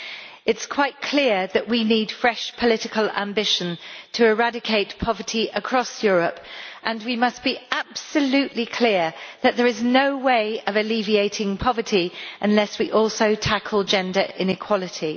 It is quite clear that we need fresh political ambition to eradicate poverty across Europe, and we must be absolutely clear that there is no way of alleviating poverty unless we also tackle gender inequality.